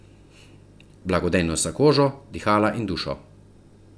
Blagodejnost za kožo, dihala in dušo.